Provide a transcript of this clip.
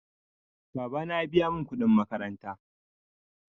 Babana ya biya min kudin makaranta.